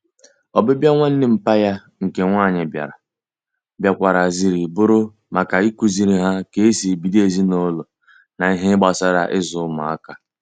Obibia nwanne mpa ya nke nwanyi biara, biakwara ziri buru maka ikuziri ha ka esi ebido ezinulo na ihe gbasara izu umuaka